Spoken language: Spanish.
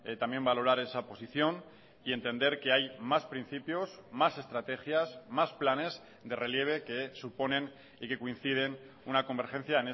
también valorar esa posición y entender que hay más principios más estrategias más planes de relieve que suponen y que coinciden una convergencia